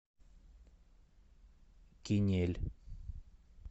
кинель